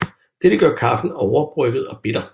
Dette gør kaffen overbrygget og bitter